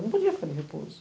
Eu não podia ficar de repouso.